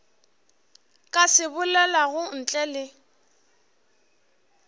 ka se bolelago ntle le